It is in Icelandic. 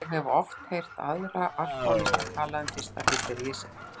Ég hef oft heyrt aðra alkóhólista tala um fyrsta fylliríið sitt.